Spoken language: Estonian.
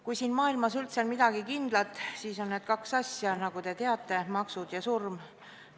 Kui siin maailmas üldse on midagi kindlat, siis on need kaks asja: nagu te teate, maksud ja surm.